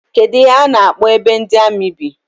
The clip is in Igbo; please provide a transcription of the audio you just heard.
Kedụ ihe a na-akpọ ebe ndị amị bi?